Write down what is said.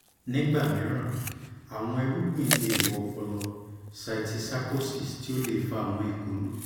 nigba miiran awọn irugbin le wọ ọpọlọ (cysticercosis) ti o le fa awọn ikolu